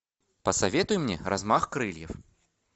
посоветуй мне размах крыльев